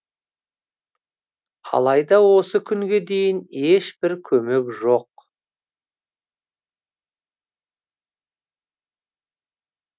алайда осы күнге дейін ешбір көмек жоқ